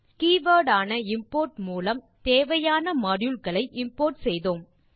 keyword ஆன import மூலம் தேவையான மாடியூல் களை இம்போர்ட் செய்தோம்